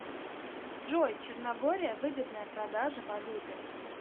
джой черногория выгодная продажа валюты